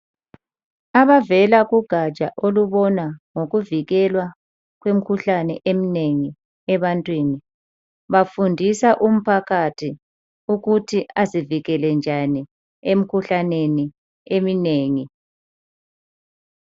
Abavela kugatsha olubona ngokuvikelwa kwemikhuhlane eminengi ebantwini bafundisa umphakathi ukuthi azivikele njani emkhuhlaneni eminengi.